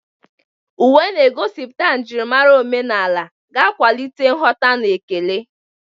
Uwe na-egosipụta njirimara omenala ga-akwalite nghọta na ekele.